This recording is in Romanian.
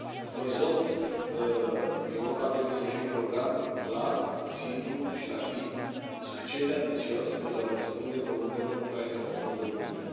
Orizont Europa trebuie să fie un program clar, simplu și rapid, suficient de ambițios pentru a răspunde provocărilor cu care se confruntă Uniunea.